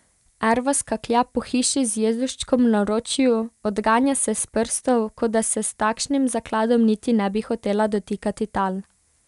Erva skaklja po hiši z Jezuščkom v naročju, odganja se s prstov, kot da se s takšnim zakladom niti ne bi hotela dotikati tal.